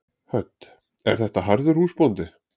Hödd: Er þetta harður húsbóndi?